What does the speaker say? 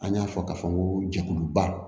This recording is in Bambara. An y'a fɔ k'a fɔ ko jɛkuluba